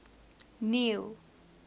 neil